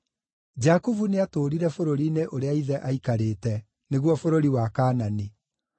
Jakubu nĩatũũrire bũrũri-inĩ ũrĩa ithe aaikarĩte, nĩguo bũrũri wa Kaanani.